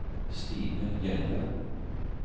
Stine Hjelle